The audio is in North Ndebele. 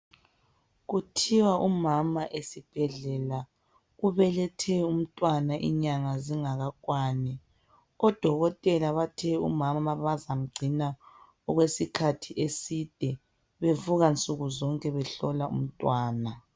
Kuthiwa umama esibhedlela ubethe umntwana inyanga zingakakwani. Odokotela bathe umama bazamgcina okwesikhathi eside bevuka nsukuzonke behlola umntwana